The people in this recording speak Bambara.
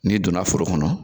N'i donna foro kɔnɔ